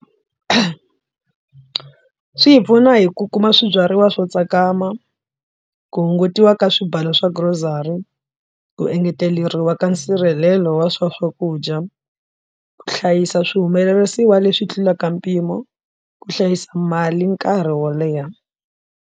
Swi hi pfuna hi ku kuma swibyariwa swo tsakama ku hungutiwa ka swibalo swa grocery ku engeteleriwa ka nsirhelelo wa swa swakudya ku hlayisa swihumelerisiwa leswi tlulaka mpimo ku hlayisa mali nkarhi wo leha.